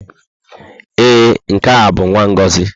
Ee, nke a bụ nwa Ngozi.